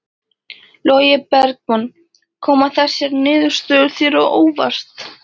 Logi Bergmann: Koma þessar niðurstöður þér á óvart?